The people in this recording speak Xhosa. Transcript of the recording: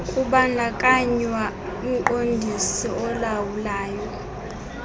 kubandakanywa umqondisi olawulayo